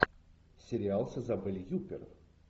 сериал с изабель юппер